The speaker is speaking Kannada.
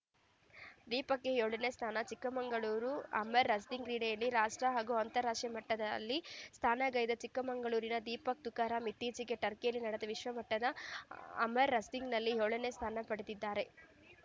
ದೀಪಕ್‌ಗೆ ಏಳನೇ ಸ್ಥಾನ ಚಿಕ್ಕಮಗಳೂರು ಅಮರ್ ರಸ್ಲಿಂಗ್‌ ಕ್ರೀಡೆಯಲ್ಲಿ ರಾಷ್ಟ್ರ ಹಾಗೂ ಅಂತಾರಾಷ್ಟ್ರೀಯ ಮಟ್ಟದಲ್ಲಿ ಸ್ಥಾನ ನೆಗೈದ ಚಿಕ್ಕಮಗಳೂರಿನ ದೀಪಕ್‌ ತುಕರಾಮ್‌ ಇತ್ತೀಚೆಗೆ ಟರ್ಕಿಯಲ್ಲಿ ನಡೆದ ವಿಶ್ವಮಟ್ಟದ ಅಮರ್ ರಸ್ಲಿಂಗ್‌ನಲ್ಲಿ ಏಳನೇ ಸ್ಥಾನ ಪಡೆದಿದ್ದಾರೆ